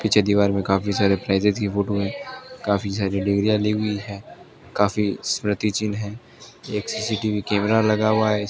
पीछे दीवार में काफी सारे प्राइजेस कि फोटो हैं काफी सारी डिग्री या लियी हुई हैं काफी स्मृति चिन्ह हैं एक सी_सी_टी_वी कैमरा लगा हुआ हैं